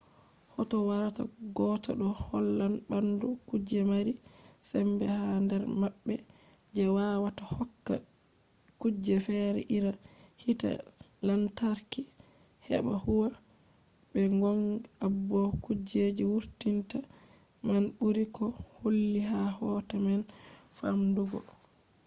hoto warata gotta ɗo hollan ɓandu kuje mari sembe ha nder maɓɓe je wawata hokka kuje fere iri hite lantarki heɓa huwa. be gong abo kujeji wurtinta man ɓuri ko holli ha hoto man famɗugo